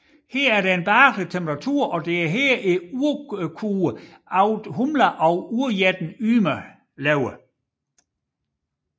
Her er en behagelig temperatur og det er her urkoen Audhumla og urjætten Ymer lever